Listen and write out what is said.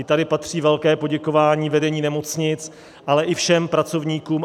I tady patří velké poděkování vedení nemocnic, ale i všem pracovníkům.